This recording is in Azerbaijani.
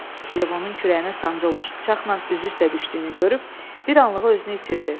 Levonun kürəyinə sancılmış bıçaqla üzü üstə düşdüyünü görüb, bir anlığa özünü itirdi.